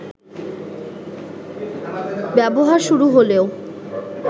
ব্যবহার শুরু হলেও